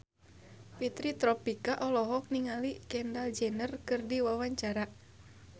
Fitri Tropika olohok ningali Kendall Jenner keur diwawancara